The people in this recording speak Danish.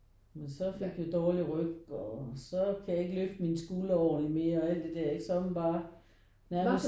Men så fik jeg dårlig ryg og så kan jeg ikke løfte mine skuldre ordentlig mere og alt det der. Så er man bare nærmest